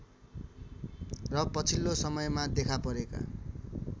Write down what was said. र पछिल्लो समयमा देखापरेका